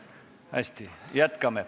Hästi, jätkame.